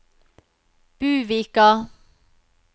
Buvika